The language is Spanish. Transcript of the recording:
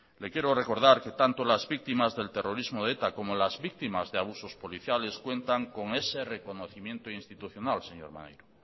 le quiero recordar que tanto las víctimas del terrorismo de eta como las víctimas de abusos policiales cuentan con ese reconocimiento institucional señor maneiro